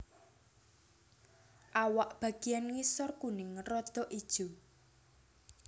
Awak bagiyan ngisor kuning rodok ijo